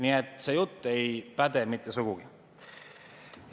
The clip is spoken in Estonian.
Nii et see jutt ei päde mitte sugugi.